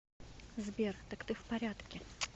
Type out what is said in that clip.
сбер так ты в порядке